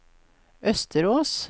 Østerås